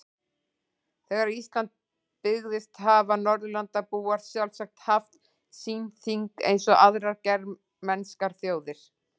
Þegar Ísland byggðist hafa Norðurlandabúar sjálfsagt haft sín þing eins og aðrar germanskar þjóðir.